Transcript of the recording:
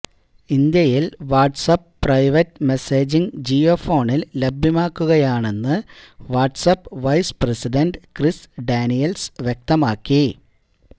ഇന്ത്യയിൽ WhatsApp private messaging ജിയോഫോണിൽ ലഭ്യമാക്കുകയാണെന്ന് WhatsApp vice president Chris Daniels വ്യക്തമാക്കി